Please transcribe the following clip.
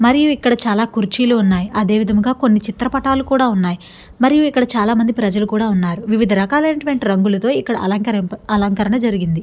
మరియు ఇక్కడ చాలా కుర్చీలు ఉన్నాయి. అదేవిధంగా కొన్ని చిత్రపటాలు కూడా ఉన్నాయి. మరి ఇక్కడ చాలా మంది ప్రజలు కూడా ఉన్నారు. వివిధ రకాలైనటువంటి రంగులతో ఇక్కడ అలంకరింప అలంకరణ జరిగింది.